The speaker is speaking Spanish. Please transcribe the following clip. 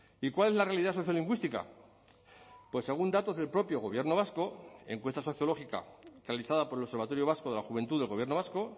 y cuál es la realidad sociolingüística pues según datos del propio gobierno vasco encuesta sociológica realizada por el observatorio vasco de la juventud del gobierno vasco